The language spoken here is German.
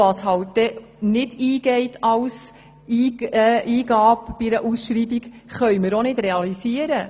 Was bei der Ausschreibung als Eingabe nicht eingeht, können wir auch nicht realisieren.